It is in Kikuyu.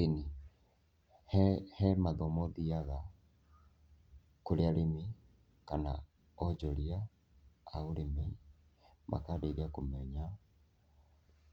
Ĩni, he mathomo thiaga kũrĩ arĩmi kana onjoria a ũrĩmi makandeithia kũmenya